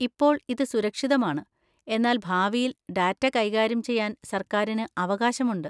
ഇപ്പോൾ ഇത് സുരക്ഷിതമാണ്, എന്നാൽ ഭാവിയിൽ ഡാറ്റ കൈകാര്യം ചെയ്യാൻ സർക്കാരിന് അവകാശമുണ്ട്.